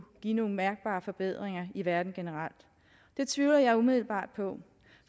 give nogle mærkbare forbedringer i verden generelt det tvivler jeg umiddelbart på